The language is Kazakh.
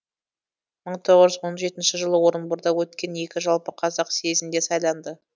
мың тоғыз жүз он жетінші жылы орынборда өткен екінші жалпықазақ съезінде сайланды